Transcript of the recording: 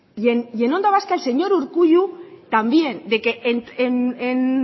y en onda vasca el señor urkullu también de que en